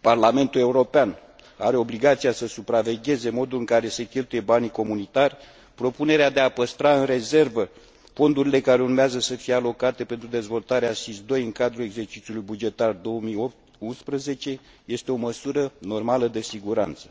Parlamentul European are obligația să supravegheze modul în care se cheltuie banii comunitari, propunerea de a păstra în rezervă fondurile care urmează să fie alocate pentru dezvoltarea SIS II în cadrul exercițiului bugetar 2011 este o măsură normală de siguranță.